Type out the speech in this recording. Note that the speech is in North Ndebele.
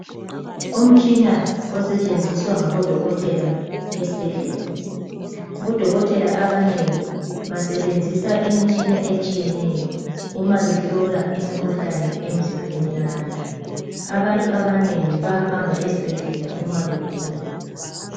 Umtshina osetshenziswa ngabodokotela esibhedlela. Bodokotela abanengi basebenzisa imitshina etshiyeneyo uma behlola imikhuhlane emizimbeni yabantu. Abantu abanengi bayahamba esibhedlela uma begula.